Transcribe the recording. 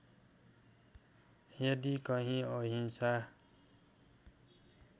यदि कहीँ अहिंसा